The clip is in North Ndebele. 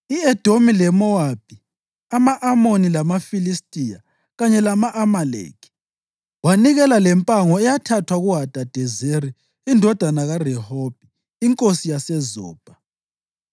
I-Edomi leMowabi, ama-Amoni lamaFilistiya kanye lama-Amaleki. Wanikela lempango eyathathwa kuHadadezeri indodana kaRehobhi, inkosi yaseZobha.